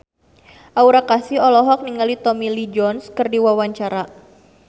Aura Kasih olohok ningali Tommy Lee Jones keur diwawancara